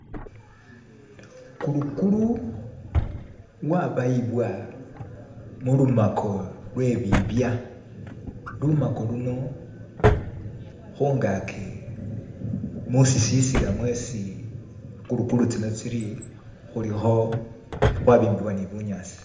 Kulukulu wabayibwa mulumako lwebibya lumako luno khungaki mushisisila mwesi kulukulu tsino tsili khulikho khwabimbibwa ni bunyasi